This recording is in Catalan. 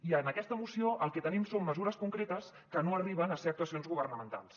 i en aquesta moció el que tenim són mesures concretes que no arriben a ser actuacions governamentals